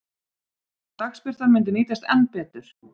Dagsbirtan myndi nýtast enn betur.